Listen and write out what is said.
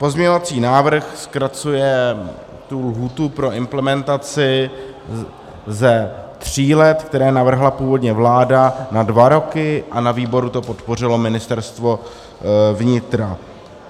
Pozměňovací návrh zkracuje tu lhůtu pro implementaci ze tří let, které navrhla původně vláda, na dva roky a na výboru to podpořilo Ministerstvo vnitra.